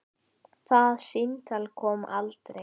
Það símtal kom aldrei.